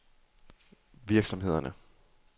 virksomhederne